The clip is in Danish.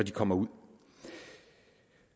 de kommer ud